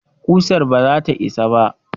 Ƙusar ba zata isa ba